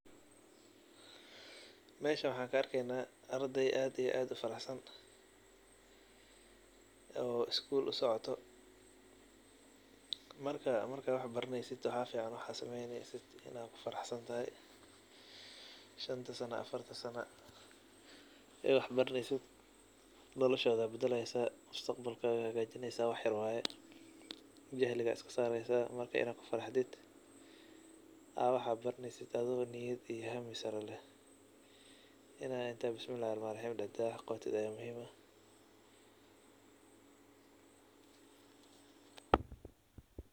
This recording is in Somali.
Mejan waxan ka arkeyna ardey aad iyo aad u faraxsan, oo isgu usocoto marka wax baraneysiid maxaa fican in aad ku faraxsantahay, shanta sana afarti sana iga wax baraneyso wain aad ku farxsantahay mustaqbalka aya hagajineysa, jahliga aya iska sareysa marka in aad ku faraxdiid aad wax aad baraneysiid aad ku faraxsantahay in inta bismilahi raxmani raxim inta tirid wax aad qawatiid.